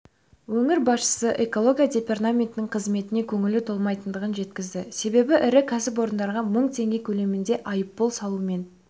өңір басшысы экология департаментінің қызметіне көңілі толмайтындығын жеткізді себебі ірі кәсіпорындарға мың теңге көлеміндегі айыппұл салумен